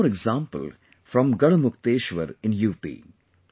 There is one more example from Garhmukteshwar in UP